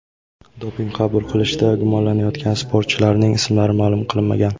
Doping qabul qilishda gumonlanayotgan sportchilarning ismlari ma’lum qilinmagan.